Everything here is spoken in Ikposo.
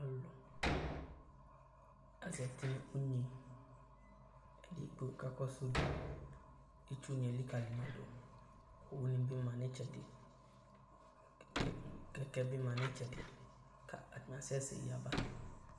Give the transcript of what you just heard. Alʋlʋ azati nʋ unyi Edigbo kakɔsʋ udu Itsunɩ elikǝli ma dʋ Owunɩ bɩ ma nʋ ɩtsɛdɩ kɛ kɛkɛ bɩ ma nʋ ɩtsɛdɩ kʋ atanɩ asɛsɛ yaba